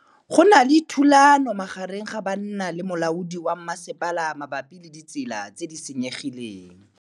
Go na le thulanô magareng ga banna le molaodi wa masepala mabapi le ditsela tse di senyegileng.